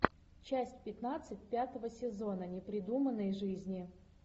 часть пятнадцать пятого сезона непридуманные жизни